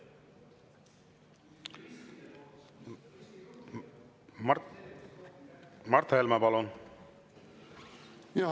Mart Helme, palun!